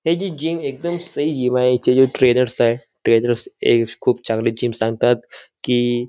हे जे जिम एकदम सही जिम आहे हेचे जे ट्रेनर्स आहे ट्रेनर्स ए खुप चांगले जिम सांगतात कि --